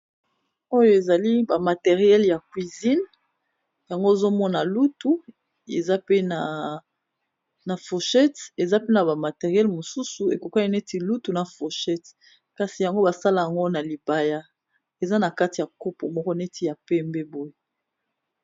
Oyo ezali ba matériels ya cuisine yango ozo mona lutu, eza pe na fourchette, eza pe na ba matériels mosusu ekokani neti na lutu na fourchette kasi yango ba salak'ango na libaya, eza na kati ya kopo moko neti ya pembe boye .